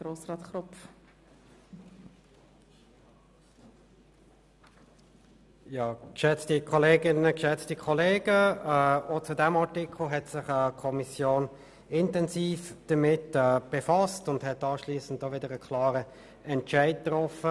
der BaK. Die Kommission hat sich auch mit diesem Artikel intensiv befasst und anschliessend einen klaren Entscheid getroffen.